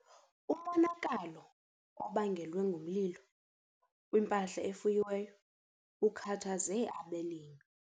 Umonakalo obangelwe ngumlilo kwimpahla efuyiweyo ukhathaze abalimi.